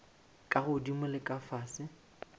ka godimo le ka fase